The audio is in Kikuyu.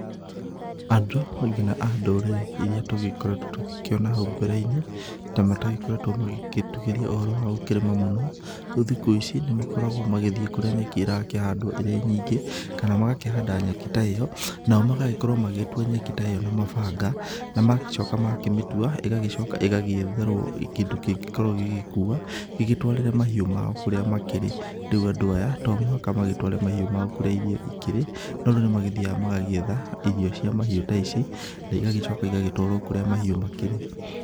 Andũ, nginya a ndũrĩrĩ, iria tũgĩkoretũo tũgĩkĩona hau mbereinĩ, ta matagĩkoretũo magĩgĩtuĩria ũhoro wa gũkĩrĩma mũno, rĩu thikũici, makoragũo magĩthiĩ kũrĩa nyeki ĩrakĩhandũo, ĩrĩ nyingĩ, kana magakĩhanda nyeki ta ĩyo, nao magagĩkorũo magĩgĩtua nyeki ta ĩyo na mabanga, na magagĩcoka magakĩmĩtua, ĩgagĩcoka ĩgagĩetherũo kĩndũ kĩngĩkorũo gĩgĩkua, gĩgĩtũarĩre mahiũ mao kũrĩa makĩrĩ, rĩu andũ aya, tomũhaka magĩtũare mahiũ mao kũrĩa irio ikĩrĩ, no rĩu nĩmagĩthiaga magagĩetha irio cia mahiũ ta ici, na igagĩcoka igagĩtũarũo kũrĩa mahiũ makĩrĩ.